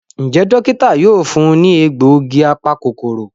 Njé Dókítà yóò fún ní egbògi apa-kòkòrò.